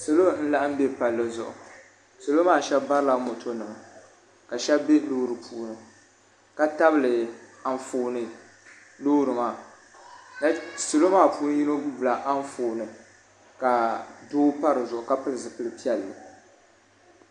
salo n laɣim bɛ pali zuɣ' salamaa shɛbi barila mɔtonima ka shɛbi bɛ lori puuni ka tabili anƒɔni lori maa salo maa puuni lori maa gbala anƒɔni ka do padi zuɣ' ka pɛli zupɛlipiɛlli